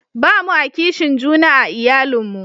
ba mu a kishin juna a iyalin mu